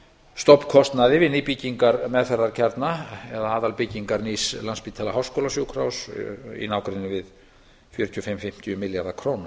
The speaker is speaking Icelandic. stofnkostnaði við nýbyggingar meðferðarkjarna eða aðalbyggingar landspítala háskólasjúkrahúss í nágrenni við fjögur þúsund fimm hundruð og fimmtíu milljarða króna